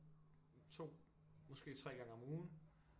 2 måske 3 gange om ugen